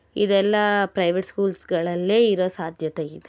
ಇದೆಲ್ಲಾ private schools ಗಳಲ್ಲಿ ಇರುವ ಸಾಧ್ಯತೆ ಇದೆ.